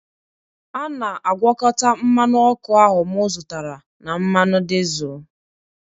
a na-agwakọta mmanụ ọkụ ahụ m zụtara na mmanụ dizel